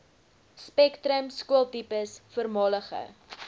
spektrum skooltipes voormalige